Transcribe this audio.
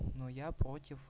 но я против